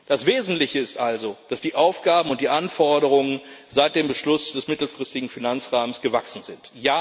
Das Wesentliche ist also, dass die Aufgaben und die Anforderungen seit dem Beschluss des mittelfristigen Finanzrahmens gewachsen sind.